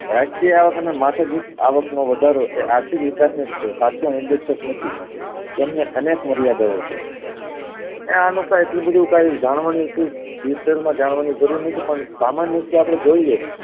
વાર્ષિક અવાક અને માથાદીથ અવાક નો વધારો આર્થિક વિકાશ નોજ છે સાચો ઉદેશક નથી અનેક મર્યાદાઓ છે એ આનું કે એટલું બધું કાય જાણવાની detail માં જાણવાની જરૂર નથી પણ સામાન્ય રીતે અપડે જોયું છે